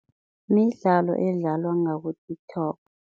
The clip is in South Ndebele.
Midlalo edlalwa ngaku-TikTok.